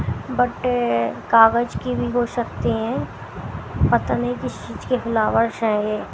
but कागज के भी हो सकते हैं पता नहीं किस चीज के फ्लावर्स है ये--